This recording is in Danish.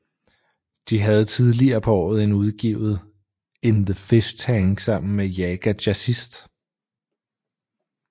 De havde tidligere på året udgivet In The Fishtank sammen med Jaga Jazzist